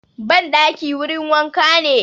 Ban ɗaki wurin wanka ne